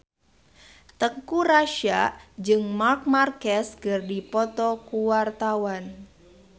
Teuku Rassya jeung Marc Marquez keur dipoto ku wartawan